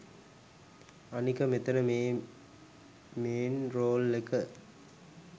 අනික මෙතන මේ මේන් රෝල් එක